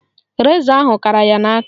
Rezọ ahụ kara ya n'aka